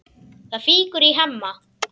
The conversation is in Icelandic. Það fýkur í Hemma.